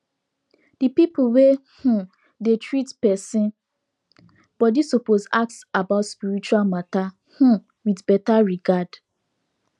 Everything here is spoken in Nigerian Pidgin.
the people wey um dey treat person body suppose ask about spiritual matter um with better regard